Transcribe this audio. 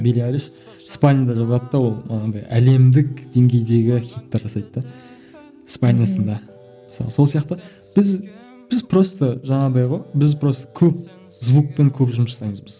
жазады да ол анадай әлемдік деңгейдегі хиттар жасайды да мысалы сол сияқты біз біз просто жаңағыдай ғой біз просто көп звукпен көп жұмыс жасаймыз біз